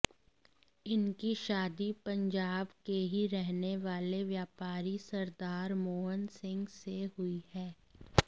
इनकी शादी पंजाब के ही रहने वाले व्यापारी सरदार मोहन सिंह से हुई है